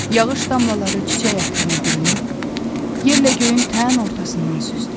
Yağış damlaları çiçək ətrinə bürünüb, yerlə göyün tən ortasından süzdü.